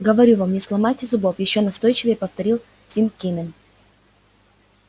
говорю вам не сломайте зубов ещё настойчивее повторил тим кинем